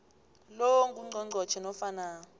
lo ngungqongqotjhe nofana